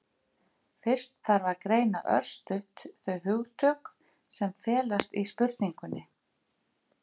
Fyrst þarf að greina örstutt þau hugtök sem felast í spurningunni.